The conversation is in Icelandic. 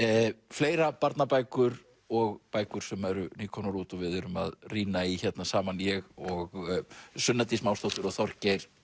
fleira barnabækur og bækur sem eru nýkomnar út og við erum að rýna í hérna saman ég og Sunna Dís Másdóttir og Þorgeir